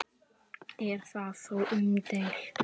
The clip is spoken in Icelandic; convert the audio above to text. Er það þó umdeilt